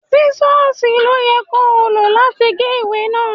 Sísọ́sìì ló yẹ kó o lọ láti gé ìwé náà.